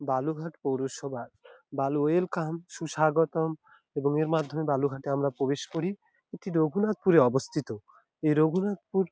বালুঘাট পৌরসভা বাল ওয়েলকাম সুস্বাগতম এবং এর মাধ্যমে আমরা প্রবেশ করি এটি রঘুনাথপুরে অবস্থিত এই রঘুনাথপুর--